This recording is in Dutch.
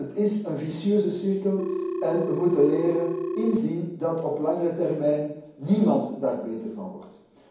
Het is een vicieuze cirkel en wij moeten leren inzien dat op langere termijn niemand daar beter van wordt.